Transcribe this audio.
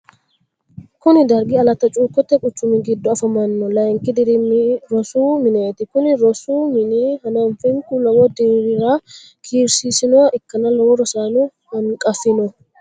kuni dargi alatti cuukote quchumi giddo afamanno layinkki dirimi rosi mineeti. kuni rosu mini hanafaminku lowo dirra kiirsisinoha ikkanna lowo rosaano hanqafino.